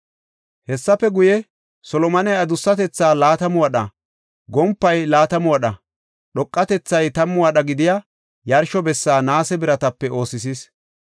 Hessafe guye, Solomoney adussatetha laatamu wadha, gompay laatamu wadha, dhoqatethay tammu wadha gidiya yarsho bessa naase biratape oosisis.